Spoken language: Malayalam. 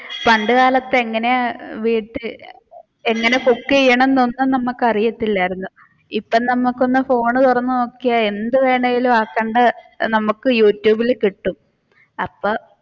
പണ്ട് കാലത്ത് എങ്ങനെ ചെയ്യണം cook ഒന്നും നമുക്ക് അറിയത്തില്ലായിരുന്നു ഇപ്പൊ നമുക്ക് ഒന്ന് ഫോൺ തുറന്നു നോക്കിയാൽ എന്ത് വേണമെങ്കിലും നമുക്ക് യൂട്യൂബിൽ കിട്ടും അപ്പൊ